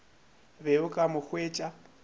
be o ka mo hwetša